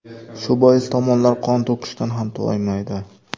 Shu bois tomonlar qon to‘kishdan ham toymaydi.